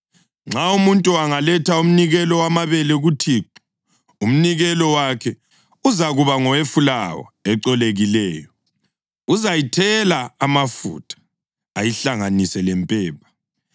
“ ‘Nxa umuntu angaletha umnikelo wamabele kuThixo; umnikelo wakhe uzakuba ngowefulawa ecolekileyo. Uzayithela amafutha ayihlanganise lempepha